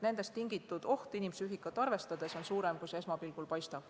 Sellest tingitud oht inimpsüühikat arvestades on suurem, kui esmapilgul paistab.